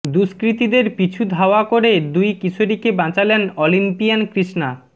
দুষ্কৃতীদের পিছু ধাওয়া করে দুই কিশোরীকে বাঁচালেন অলিম্পিয়ান কৃষ্ণা